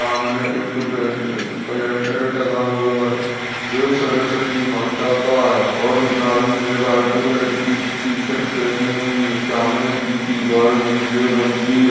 सामने एक bed calendar टांगा हुआ है एक सरस्वती माता का है और न्हाइ ने व्हाइट कलर की टी-शर्ट पहनी हुई है सामने की दीवार नीले रंग की --